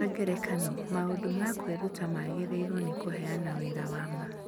Kwa ngerekano, maũndũ ma kwĩruta magĩrĩirũo nĩ kũheana wĩra wa ma